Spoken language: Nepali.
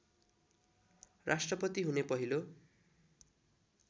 राष्ट्रपति हुने पहिलो